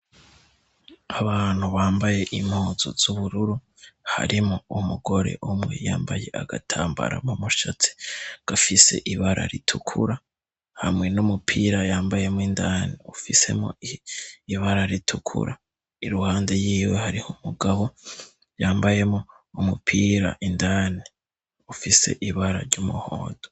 Abantu bambaye impuzu z'ubururu harimwo umugore umwe yambaye agatambara mu mushatsi gafise ibara ritukura, hamwe n'umupira yambayemwo indani ufisemwo ibara ritukura. Iruhande yiwe hariho umugabo yambayemwo umupira indani ufise ibara ry'umuhondo.